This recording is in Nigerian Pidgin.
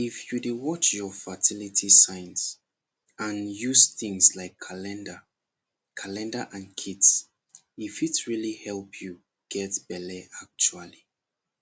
if you dey watch your fertility signs and use things like calendar calendar and kits e fit really help you get belle actually